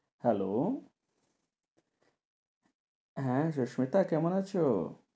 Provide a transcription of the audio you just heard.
Hello? হ্যাঁ, সুস্মিতা কেমন আছো?